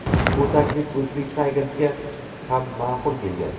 Bu taklif Uzbek Tigers’ga ham ma’qul kelgan.